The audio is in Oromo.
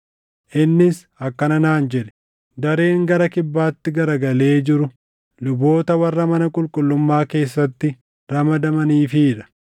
Innis akkana naan jedhe; “Dareen gara kibbaatti garagalee jiru luboota warra mana qulqullummaa keessatti ramadamaniifii dha;